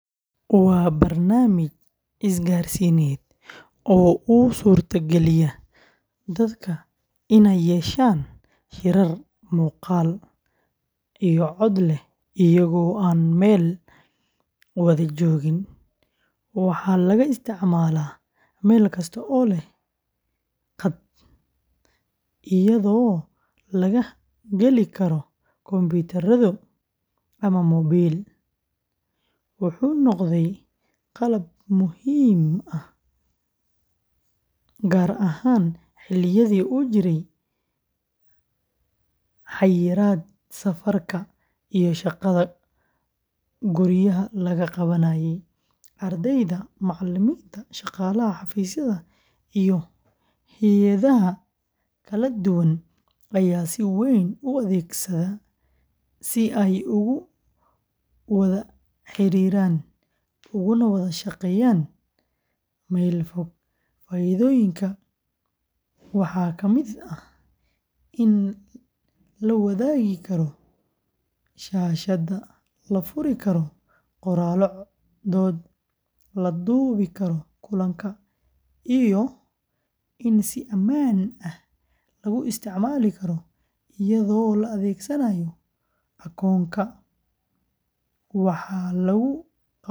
Waa barnaamij isgaarsiineed oo u suurtageliya dadka inay yeeshaan shirar muuqaal iyo cod leh iyagoo aan meel wada joogin. Waxaa laga isticmaalaa meel kasta oo leh qaad, iyadoo laga geli karo kombiyuutar, tablet, ama moobil. Wuxuu noqday qalab muhiim ah gaar ahaan xilliyadii uu jiray xayiraadda safarka iyo shaqada guryaha laga qabanayay. Ardayda, macalimiinta, shaqaalaha xafiisyada, iyo hay’adaha kala duwan ayaa si weyn u adeegsada si ay ugu wada xiriiraan, uguna wada shaqeeyaan meel fog. Faa’iidooyin waxaa ka mid ah in la wadaagi karo shaashadda, la furi karo qoraallo dood, la duubi karo kulanka, iyo in si ammaan ah lagu isticmaali karo iyadoo la adeegsanayo akoonka. Waxaa lagu qaban karaa shirar waqti kasta ah, iyadoo la dejin karo jadwal.